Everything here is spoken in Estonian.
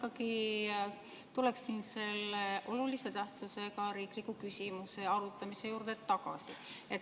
Ma ikkagi tuleksin selle olulise tähtsusega riikliku küsimuse arutamise juurde tagasi.